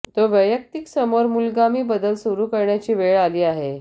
तो वैयक्तिक समोर मूलगामी बदल सुरू करण्याची वेळ आली आहे